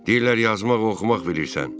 Deyirlər yazmaq, oxumaq bilirsən.